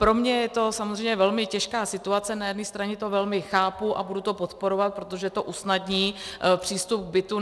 Pro mě je to samozřejmě velmi těžká situace, na jedné straně to velmi chápu a budu to podporovat, protože to usnadní přístup k bytu.